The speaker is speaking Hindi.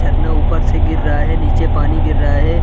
झरना ऊपर से गिर रहा है नीचे पानी गिर रहा है।